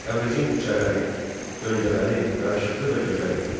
Təbrizin küçələri, döngələri yaraşıqlı və gözəl idi.